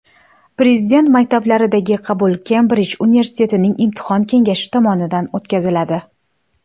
Prezident maktablariga qabul Kembrij universitetining Imtihon kengashi tomonidan o‘tkaziladi.